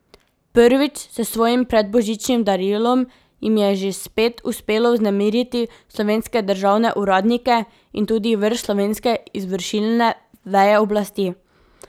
Prvič, s svojim predbožičnim darilom jim je že spet uspelo vznemiriti slovenske državne uradnike in tudi vrh slovenske izvršilne veje oblasti.